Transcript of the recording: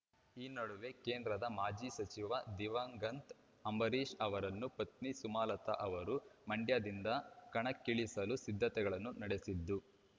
ಈ ನಡುವೆ ಕೇಂದ್ರದ ಮಾಜಿ ಸಚಿವ ದಿವಂಗ್ತ್ ಅಂಬರೀಷ್ ಅವರ ಪತ್ನಿ ಸುಮಲತ ಅವರು ಮಂಡ್ಯದಿಂದ ಕಣಕ್ಕಿಳಿಯಲು ಸಿದ್ಧತೆಗಳನ್ನು ನಡೆಸಿದ್ದು